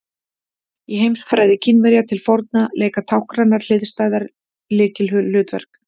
Í heimsfræði Kínverja til forna leika táknrænar hliðstæður lykilhlutverk.